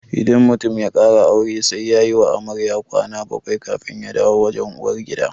Idan mutum ya ƙara aure sai yayi wa amarya kwana bakwai kafin ya dawo wajen uwar gida